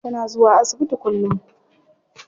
Tana zuwa asibiti kullum.